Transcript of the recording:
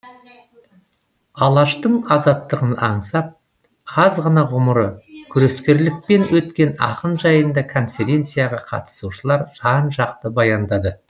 алаштың азаттығын аңсап аз ғана ғұмыры күрескерлікпен өткен ақын жайында конференцияға қатысушылар жан жақты баяндады